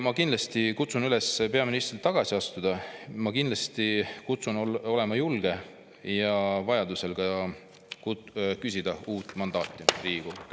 Ma kindlasti kutsun peaministrit üles tagasi astuma, ma kindlasti kutsun olema julge ja vajadusel ka küsima uut mandaati Riigikogult.